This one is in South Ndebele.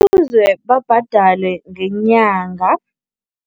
Babhadalwe ngenyanga.